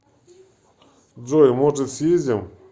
джой может съездим